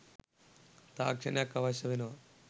තාක්ෂණයක් අවශ්‍ය වෙනවා.